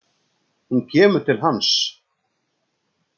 Hún kemur til hans.